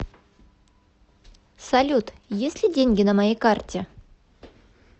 салют есть ли деньги на моей карте